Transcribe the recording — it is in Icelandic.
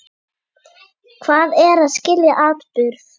Hvað er að skilja atburð?